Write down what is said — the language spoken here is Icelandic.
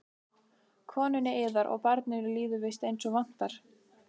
Konunni yðar og barninu líður víst eins og vantar?